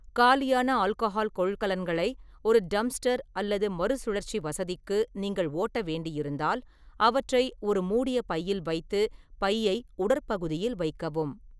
காலியான ஆல்கஹால் கொள்கலன்களை ஒரு டம்ப்ஸ்டர் அல்லது மறுசுழற்சி வசதிக்கு நீங்கள் ஓட்ட வேண்டியிருந்தால், அவற்றை ஒரு மூடிய பையில் வைத்து, பையை உடற்பகுதியில் வைக்கவும்.